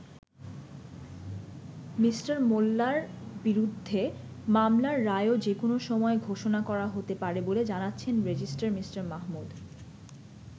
Me. মোল্লার বিরুদ্ধে মামলার রায়ও যেকোনো সময়ে ঘোষণা করা হতে পারে বলে জানাচ্ছেন রেজিস্টার মি. মাহমুদ।